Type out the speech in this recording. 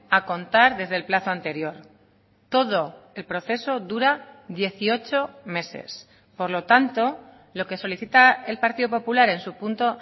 a contar desde el plazo anterior todo el proceso dura dieciocho meses por lo tanto lo que solicita el partido popular en su punto